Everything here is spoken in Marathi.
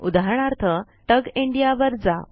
उदाहरणार्थ तुग इंडिया वर जा